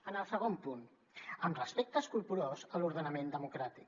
en el segon punt amb respecte escrupolós a l’ordenament democràtic